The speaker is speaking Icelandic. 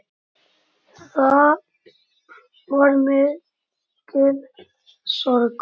Það var mikil sorg.